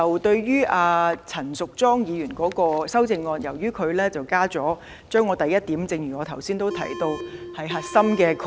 對於陳淑莊議員的修正案，她修改了我的第一項，而這點是我原議案的核心概念。